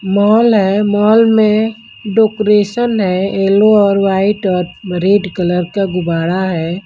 Mall है mall में decoration है येलो और व्हाइट और रेड कलर का गुब्बारा है।